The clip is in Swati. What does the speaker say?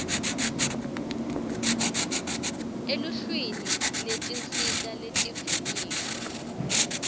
eluhlwini lwetinsita letivunyiwe